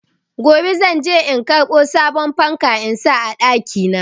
Gobe zan je in karbo sabon fanka in sa a ɗaki na.